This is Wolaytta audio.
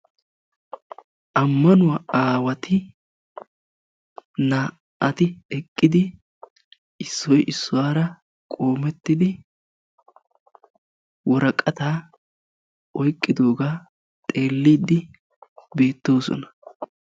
ammanuwaa aawati naa"ati eqidi issoy issuwara qoomettidi woraqatta oyqidogaa haakko zaaridi besiidi beettosona.